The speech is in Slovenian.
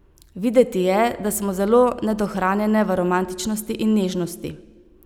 Videti je, da smo zelo nedohranjene v romantičnosti in nežnosti.